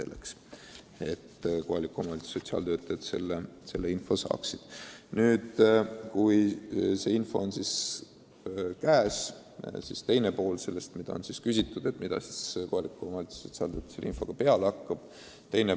Kui see info on sotsiaaltöötajal käes, siis on muidugi küsimus, mida ta sellega peale hakkab.